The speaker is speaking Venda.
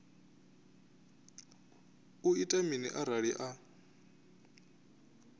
u ita mini arali a